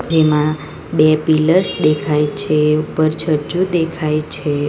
જેમાં બે પિલર્સ દેખાય છે ઉપર છજુ દેખાય છે.